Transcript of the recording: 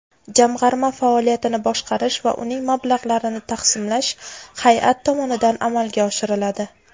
Jamg‘arma faoliyatini boshqarish va uning mablag‘larini taqsimlash hayʼat tomonidan amalga oshiriladi.